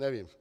Nevím.